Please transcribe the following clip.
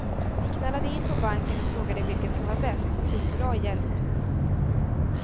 Vi knallade in på banken och frågade vilket som var bäst, och fick bra hjälp.